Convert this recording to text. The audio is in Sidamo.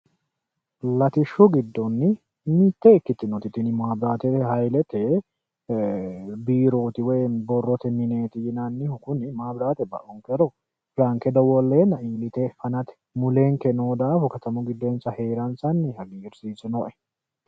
Latishshu giddoonni mitte ikkitinoti miti maabiraati hayilete biirooti woyi borrote mineeti yinannihu kuni maabiraate ba'unkero ranke dowolleenna iillite fanate mulenke noo daafo katamu giddo heeransanni hagiirsiisinoe.